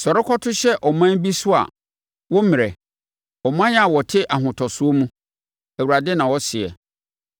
“Sɔre kɔto hyɛ ɔman bi so a woremmrɛ, ɔman a wɔte ahotosoɔ mu,” Awurade na ɔseɛ,